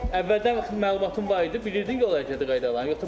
Əvvəldən məlumatın var idi, bilirdin yol hərəkəti qaydalarını, yoxsa burda öyrəndin?